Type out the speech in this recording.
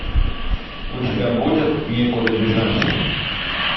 у тебя будет некуда бежать